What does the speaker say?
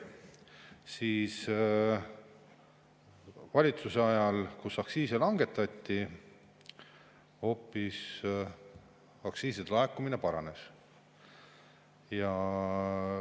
Selle valitsuse ajal, kus aktsiise langetati, aktsiiside laekumine hoopis paranes.